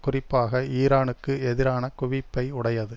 குறிப்பாக ஈரானுக்கு எதிரான குவிப்பை உடையது